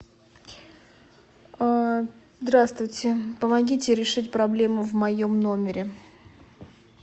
здравствуйте помогите решить проблему в моем номере